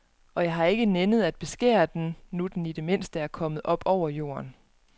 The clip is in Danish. Og jeg har ikke nænnet at beskære den, nu den i det mindste var kommet op over jorden.